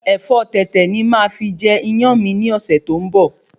Ẹ̀fọ́ Tètè ni máà fi jẹ Iyán mi ni ọ̀sẹ̀ tó ń bo